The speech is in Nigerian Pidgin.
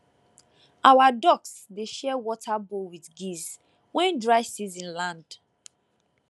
our ducks dey share water bowl with geese when dry season land